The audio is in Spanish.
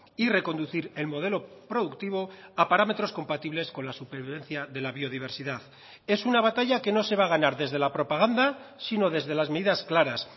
y reconducir el modelo productivo a parámetros compatibles con la supervivencia de la biodiversidad es una batalla que no se va a ganar desde la propaganda sino desde las medidas claras